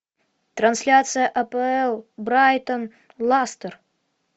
трансляция апл брайтон лестер